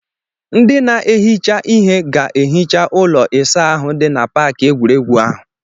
Ndị na-ehicha ihe ga-ehicha ụlọ ịsa ahụ dị na paakị egwuregwu ahụ.